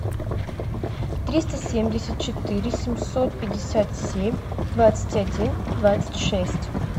триста семьдесят четыре семьсот пятьдесят семь двадцать один двадцать шесть